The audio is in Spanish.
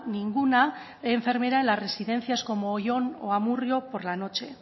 ninguna enfermera en las residencias como oyón o amurrio por la noche